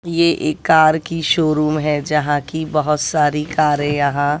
ये एक कार की शोरुम है जहां कि बहोत सारी कारे यहां--